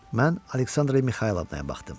Mən Aleksandra Mixaylovnaya baxdım.